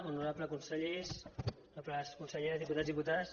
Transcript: honorables consellers honorables conselleres diputats i diputades